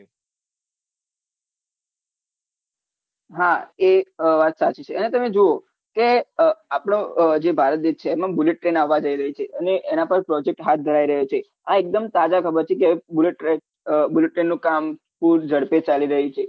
હા એ વાત સાચી છે અને તમે જોવો કે આપનો જે ભારત દેશ છે એમાં bullet train આવા જઈ રહી છે અને એનાં પર project હાથ ધરાઈ રહ્યો છે આ એકદમ તાજા ખબર છે કે bullet train નું કામ ખુબ જડપી ચાલી રહ્યું છે